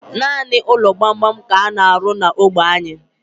Nanị ụlọ gbam gbam ka ana arụ n'ógbè anyi